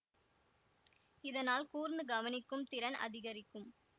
இதனால் கூர்ந்து கவனிக்கும் திறன் அதிகரிக்கும்